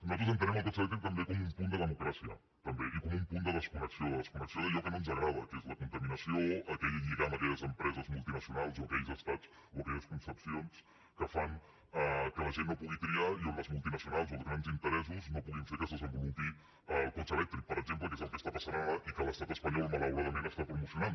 nosaltres entenem el cotxe elèctric com un punt de democràcia també i com un punt de desconnexió de desconnexió d’allò que no ens agrada que és la contaminació aquell lligam a aquelles empreses multinacionals o a aquells estats o a aquelles concepcions que fan que la gent no pugui triar i on les multinacionals o els grans interessos no puguin fer que es desenvolupi el cotxe elèctric per exemple que és el que està passant ara i que l’estat espanyol malauradament està promocionant